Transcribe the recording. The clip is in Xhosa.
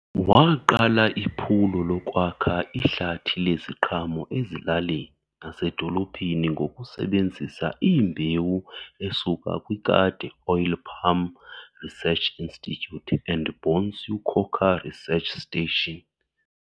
Waqala iphulo lokwakha ihlathi leziqhamo ezilalini nasedolophini ngokusebenzisa iimbewu esuka kwiKade Oil Palm Research Institute and Bonsu Cocoa Research Station.